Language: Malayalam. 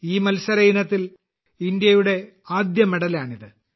ഈ മത്സര ഇനത്തിൽ ഇന്ത്യയുടെ ആദ്യ മെഡലാണിത്